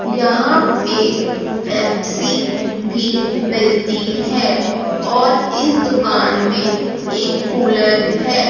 यहां पे पेप्सी भी मिलती है और इस दुकान में एक कूलर है।